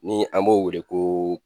Ni an b'o wele ko